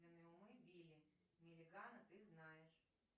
билли миллигана ты знаешь